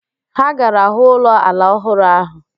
Ha gara hụ ụlọ ala ọhụrụ ahụ